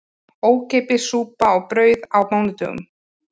Ókeypis súpa og brauð á mánudögum